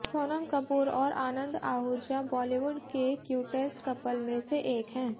सोनम कपूर और आनंद आहूजा बॉलीवुड के cutest couples में से एक हैं